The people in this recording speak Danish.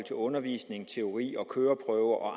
til undervisning teori og køreprøve og